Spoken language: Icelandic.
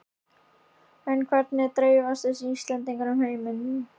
En hvernig dreifast þessi Íslendingar um heiminn?